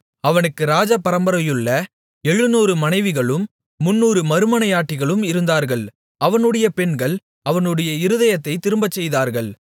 அவனுக்கு ராஜ பரம்பரையுள்ள 700 மனைவிகளும் 300 மறுமனையாட்டிகளும் இருந்தார்கள் அவனுடைய பெண்கள் அவனுடைய இருதயத்தைத் திரும்பச்செய்தார்கள்